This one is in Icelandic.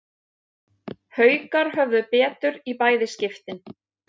Haukar höfðu betur í bæði skiptin